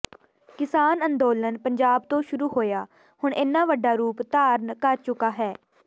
ਕਿਸਾਨ ਅੰਦੋਲਨ ਪੰਜਾਬ ਤੋਂ ਸ਼ੁਰੂ ਹੋਇਆ ਹੁਣ ਇੰਨਾ ਵੱਡਾ ਰੂਪ ਧਾਰਨ ਕਰ ਚੁੱਕਾ ਹੈ